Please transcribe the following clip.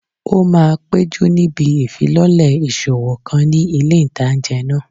Ó máa péjú níbi ìfilọ́lẹ̀ ìṣòwò kan ní ilé ìtánjẹ náà